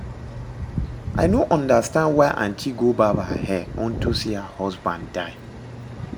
I no understand why aunty go barb her hair unto say her husband die